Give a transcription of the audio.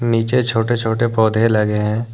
नीचे छोटे छोटे पौधे लगे हैं।